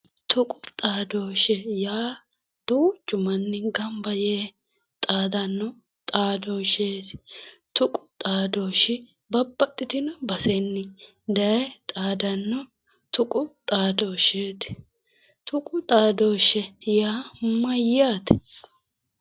Tuqu xaadoshshe yaa duuchu manni gamba yee xaadanno xadooshsheeti tuqu xadooahahe babbaxxitino basenni daaye xaadanno tuqu xadooahsheeti tuqu xadooshshe yaa mayyaate?